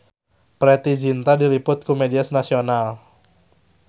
Preity Zinta diliput ku media nasional